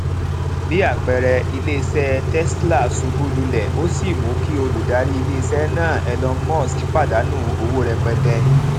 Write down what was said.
bí àpẹẹrẹ ilé iṣé tesla ṣubú lulẹ ó sì mú kí olùdarí ilé iṣẹ náà elon musk pàdánù owó rẹpẹtẹ